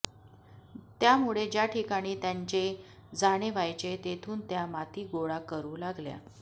त्यामुळे ज्या ठिकाणी त्यांचे जाणे व्हायचे तेथून त्या माती गोळा करू लागल्या